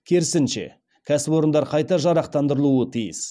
керісінше кәсіпорындар қайта жарақтандырылуы тиіс